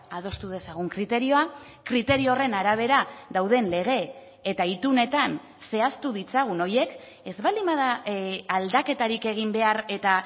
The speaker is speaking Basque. adostu dezagun kriterioa kriterio horren arabera dauden lege eta itunetan zehaztu ditzagun horiek ez baldin bada aldaketarik egin behar eta